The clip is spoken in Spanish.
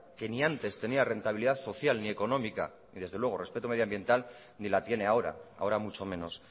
que ni antes tenía rentabilidad social ni económica y desde luego respeto medioambiental ni la tiene ahora ahora mucho menos